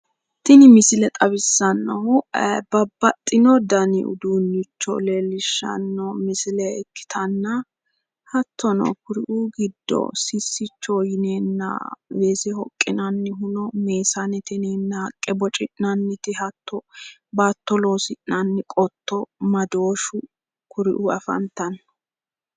tini misile xawissannohu babbaxitino dani uduunnicho leellishshanno misile ikkitanna hattono kuriuu giddo sissichoho yineenna weese hokkinannite meesanete yineenna haqqe boci'nannite hatto baatto loosi'nanni qotto madooshu kuriuu afantanno.